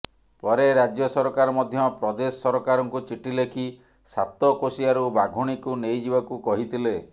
ପରେ ରାଜ୍ୟ ସରକାର ମଧ୍ୟ ପ୍ରଦେଶ ସରକାରଙ୍କୁ ଚିଠି ଲେଖି ସାତକୋଶିଆରୁ ବାଘୁଣୀକୁ ନେଇଯିବାକୁ କହିଥିଲେ